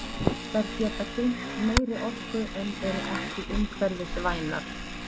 Þær geta geymt meiri orku en eru ekki umhverfisvænar.